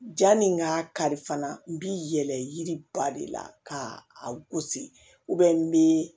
Janni n ka kari fana n bɛ yɛlɛ yiri ba de la ka a gosi n bɛ